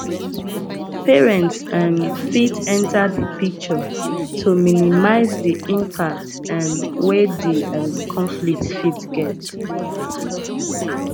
parents um fit enter di picture to minimize di impact um wey di um conflict fit get